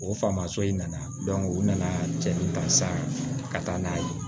O famuya so in nana u nana cɛ min kan sa ka taa n'a ye